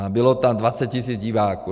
A bylo tam 20 tisíc diváků.